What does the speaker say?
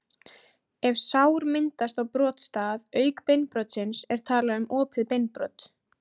Ef sár myndast á brotstað auk beinbrotsins er talað um opið beinbrot.